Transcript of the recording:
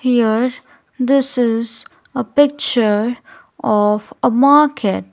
here this is a picture of a market.